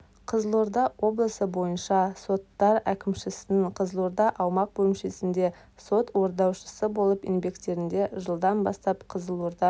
қызылорда облысы бойынша соттар әкімшісінің қызылорда аумақ бөлімшесінде сот орындаушысы болып еңбектенеді жылдан бастап қызылорда